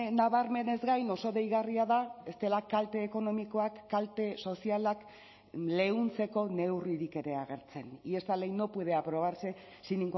nabarmenez gain oso deigarria da ez dela kalte ekonomikoak kalte sozialak leuntzeko neurririk ere agertzen y esta ley no puede aprobarse sin